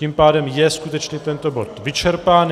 Tím pádem je skutečně tento bod vyčerpán.